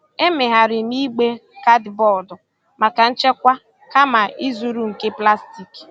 Emegharịrị m igbe kaadịbọọdụ maka nchekwa kama ịzụrụ nke plastik.